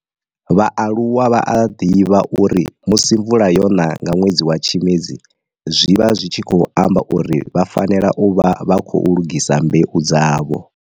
Vhaaluwa vha a divha uri musi mvula yona nga nwedzi wa Tshimedzi zwi vha zwi tshi khou amba uri vha fanela u vha vha khou lugisa mbeu dzavho.